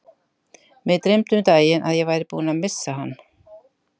Mig dreymdi um daginn að ég væri búinn að missa hann.